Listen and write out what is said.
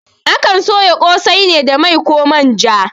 Akan soya ƙosai ne da mai koh manja